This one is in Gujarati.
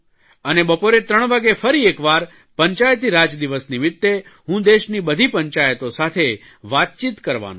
અને બપોરે 3 વાગ્યે ફરી એકવાર પંચાયતીરાજ દિવસ નિમિત્તે હું દેશની બધી પંચાયતો સાથે વાતચીત કરવાનો છું